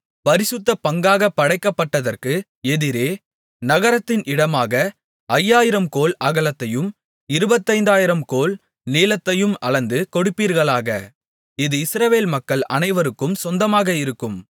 பரிசுத்த பங்காகப் படைக்கப்பட்டதற்கு எதிரே நகரத்தின் இடமாக ஐயாயிரம் கோல் அகலத்தையும் இருபத்தைந்தாயிரம் கோல் நீளத்தையும் அளந்து கொடுப்பீர்களாக அது இஸ்ரவேல் மக்கள் அனைவருக்கும் சொந்தமாக இருக்கும்